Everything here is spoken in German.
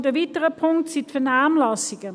Und ein weiterer Punkt sind die Vernehmlassungen: